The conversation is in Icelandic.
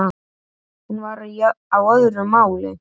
Hún var á öðru máli.